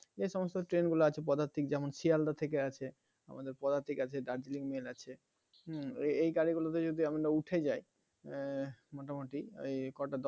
যে সমস্ত Train গুলো আছে padatik যেমন sealdah থেকে আছে আমাদের padatik আছে darjiling, mail আছে হম এই গাড়ি গুলোতে যদি আমরা উঠে যাই এর মোটামুটি ওই কটা দশটা